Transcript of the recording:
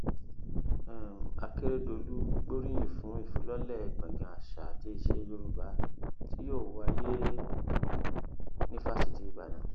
um akérèdòlù gbóríyìn fún ìfilọlẹ gbọngàn àṣà àti iṣẹ yorùbá tí yóò wáyé um ní fásitì ìbàdàn